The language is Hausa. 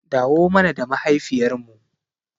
Dawo mana da mahaifiyar mu